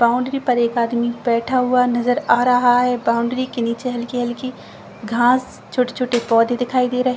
Boundary के ऊपर एक आदमी बैठा हुआ नजर आ रहा है बाउंड्री के नीचे हल्की हल्की घास छोटे-छोटे पौधे दिखाई दे रहे हैं।